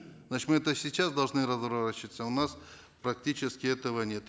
значит мы это сейчас должны разворачиваться у нас практически этого нет